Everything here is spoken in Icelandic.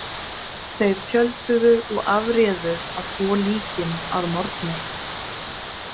Þeir tjölduðu og afréðu að þvo líkin að morgni.